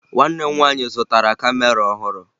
Nwanne m nwaanyị zụtara kamera ọhụrụ